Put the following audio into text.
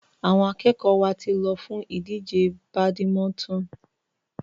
Àwọn akẹ́kọ̀ọ́ wa ti lọ fún ìdíje badminton.